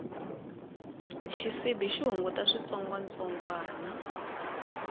xisibi xi hunguta switsongwatsongwani